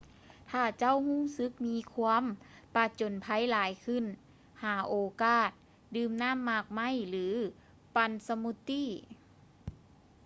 ຖ້າເຈົ້າຮູ້ສຶກມີຄວາມປະຈົນໄພຫລາຍຂຶ້ນ ຫາໂອກາດດື່ມນໍ້າໝາກໄມ້ ຫຼື ປັ່ນສະມູດຕີ້